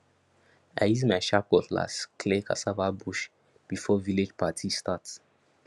i use my sharp cutlass clear cassava bush before village party start